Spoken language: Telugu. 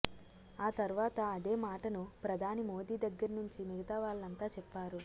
ఆ తర్వాత అదే మాటను ప్రధాని మోదీ దగ్గర్నుంచి మిగతా వాళ్లంతా చెప్పారు